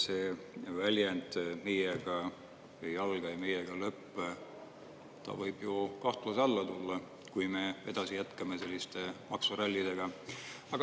See väljend, et meiega ei alga ja meiega ei lõpe, võib ju kahtluse alla tulla, kui me jätkame selliste maksurallidega.